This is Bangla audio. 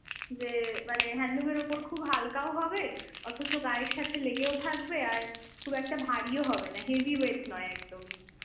যে, মানে handloom এর ওপর খুব হালকাও হবে, অথচ গায়ের সাথে লেগেও থাকবে, আর খুব একটা ভারিও হবে না, heavy weight নয় একদমই।